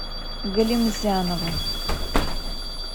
галимзянову